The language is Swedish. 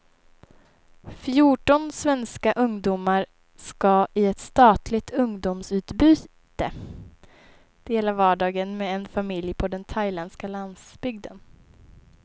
Fjorton svenska ungdomar skall i ett statligt ungdomsutbyte dela vardagen med en familj på den thailändska landsbygden.